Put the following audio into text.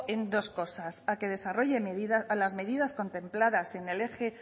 en dos cosa a que desarrolle las medidas contempladas en el eje